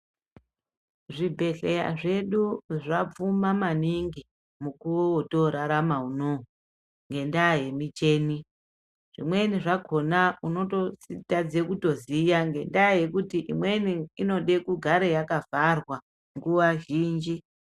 Zvibhedhleya zvedu zvapfuma maningi mukuvo votorarama unouyu ngendaa yemicheni. Zvimweni zvakona unototadze kutoziya ngendaa yekuti imweni inode kugare yakavharwa nguva zhinji.